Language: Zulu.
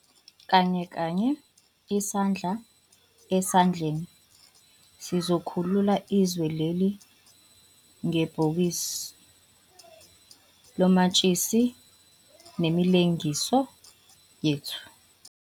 Kanye kanye, isandla esandleni, sizokhulula izwe leli ngebhokisi lomatshisi nemilengiso yethu.